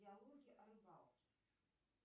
диалоги о рыбалке